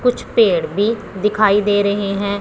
कुछ पेड़ भी दिखाई दे रहे हैं।